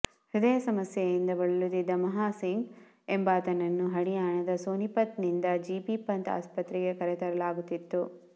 ಹೃದಯದ ಸಮಸ್ಯೆಯಿಂದ ಬಳಲುತ್ತಿದ್ದ ಮಹಾ ಸಿಂಗ್ ಎಂಬಾತನನ್ನು ಹರಿಯಾಣದ ಸೋನಿಪತ್ ನಿಂದ ಜಿಬಿ ಪಂತ್ ಆಸ್ಪತ್ರೆಗೆ ಕರೆತರಲಾಗುತ್ತಿತ್ತು